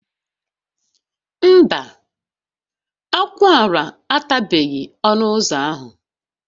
Mba, akwụala atabeghị ọnụ ụzọ ahụ